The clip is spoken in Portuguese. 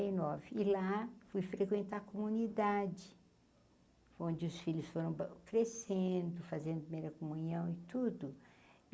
nove lá fui frequentar a comunidade, onde os filhos foram bâ crescendo, fazendo primeira comunhão e tudo.